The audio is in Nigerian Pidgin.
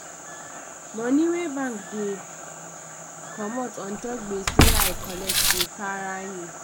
money wey bank da comot untop gbese wey i colet da para me